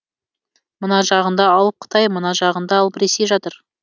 мына жағында алып қытай мына жағында алып ресей жатыр